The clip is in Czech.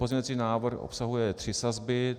Pozměňovací návrh obsahuje tři sazby.